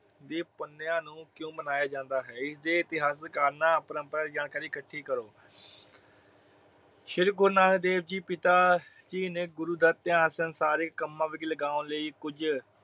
ਦੀ ਪੁਨਿਆ ਨੂੰ ਕਿਉਂ ਮਨਾਇਆ ਜਾਂਦਾ ਹੈ। ਇਸਦੇ ਇਤਿਹਾਸਿਕ ਕਾਰਨਾਂ ਪ੍ਰੋਮਪ੍ਰੀਕ ਜਾਣਕਾਰੀ ਇਕੱਠੀ ਕਰੋ। ਸ਼੍ਰੀ ਗੁਰੂ ਨਾਨਕ ਦੇਵ ਜੀ ਪਿਤਾ ਜੀ ਨੇ ਗੁਰੂ ਦਾ ਧਿਆਨ ਸੰਸਾਰਿਕ ਕੰਮਾਂ ਵਿਚ ਲਗੋਨ ਲਈ ਕੁਜ